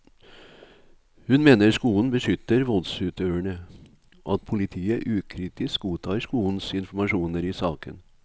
Hun mener skolen beskytter voldsutøverne, og at politiet ukritisk godtar skolens informasjoner i saken.